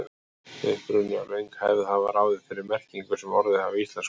Uppruni og löng hefð hafa ráðið þeirri merkingu sem orðin hafa í íslensku.